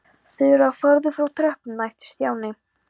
Þura, farðu frá tröppunum æpti Stjáni.